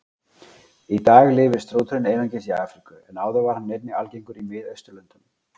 Í dag lifir strúturinn einungis í Afríku en áður var hann einnig algengur í Miðausturlöndum.